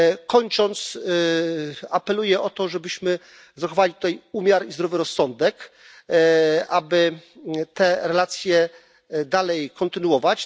Kończąc, apeluję o to, żebyśmy zachowali tutaj umiar i zdrowy rozsądek, aby te relacje dalej kontynuować.